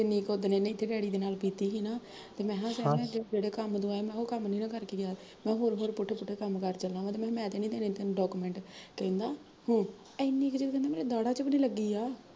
ਜਿੰਨੀ ਕੁ ਓਦਣ ਇਹਨੇ ਇੱਥੇ ਡੈਡੀ ਦੇ ਨਾਲ਼ ਕੀਤੀ ਸੀ ਨਾ, ਤੇ ਮੈਂ ਕਿਹਾ ਜਿਹੜੇ ਕੰਮ ਤੂੰ ਆਇਆ ਓਹ ਕੰਮ ਨੀ ਨਾ ਕਰ ਕੇ ਗਿਆ, ਹੋਰ ਹੋਰ ਪੁੱਠੇ ਪੁੱਠੇ ਕੰਮ ਕਰ ਚਲਾ ਵਾ ਮੈਂ ਕਿਹਾ ਮੈਂ ਤਾਂਨੀ ਦੇਣੇ ਤੈਨੂੰ document ਕਹਿੰਦਾ, ਹਮ ਇੰਨੀ ਕੁ ਤਾਂ ਮੇਰੇ ਦਾੜਾ ਚ ਵੀ ਨੀ ਲੱਗੀ ਆ